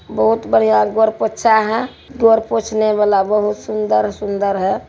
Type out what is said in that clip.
बहुत बढ़ाया गौड़ पोछा है गौड़ पोछने वाला बहुत सुन्दर-सुन्दर है।